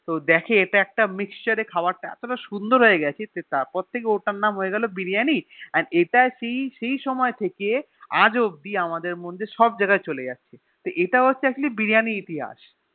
তো দেখে ইটা একটা Mixture এ খায়বার তা যায় তা সুন্দর হয়েগেছে তারপর থেকে ওটার নাম হয়েগেলো বিরিয়ানি জানিস আর ইটা সেই সময় থেকেই আজ অব্দিন আমাদের মধ্যে সব জায়গা চলে যাচ্ছে তো ইটা হচ্ছে আসলে Biriyani এর ইতিহাস